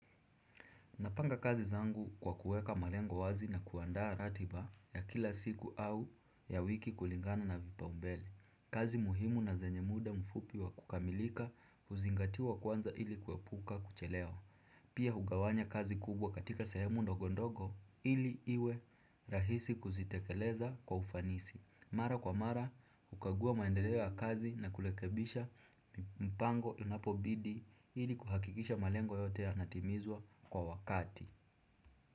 Napanga kazi zangu kwa kuweka malengo wazi na kuandaa ratiba ya kila siku au ya wiki kulingana na vipa umbele. Kazi muhimu na zenye muda mfupi wa kukamilika huzingatiwa kwanza ili kuepuka kuchelewa. Pia hugawanya kazi kubwa katika sahemu ndogondogo ili iwe rahisi kuzitekeleza kwa ufanisi. Mara kwa mara, hukagua maendeleo ya kazi na kurekebisha mpango unapobidi ili kuhakikisha malengo yote yanatimizwa kwa wakati.